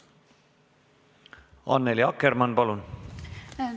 Annely Akkermann, palun!